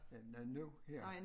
Ja nej nu her